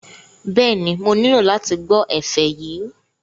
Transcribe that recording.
Bẹ́ẹ̀ni, mo nílò láti gbọ́ ẹ̀fẹ̀ yìí